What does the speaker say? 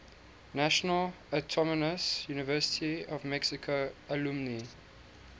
national autonomous university of mexico alumni